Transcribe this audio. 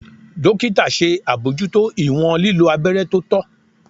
Dokita ṣe abojuto iwọn lilo abẹrẹ to tọ.